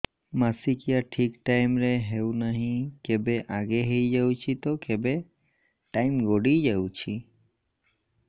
ମାସିକିଆ ଠିକ ଟାଇମ ରେ ହେଉନାହଁ କେବେ ଆଗେ ହେଇଯାଉଛି ତ କେବେ ଟାଇମ ଗଡି ଯାଉଛି